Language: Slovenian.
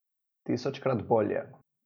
Tisočkrat bolje.